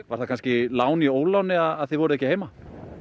var kannski lán í óláni að þið voruð ekki heima